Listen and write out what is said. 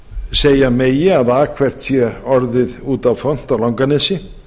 segja megi að akfært sé orðið út á font á langanesi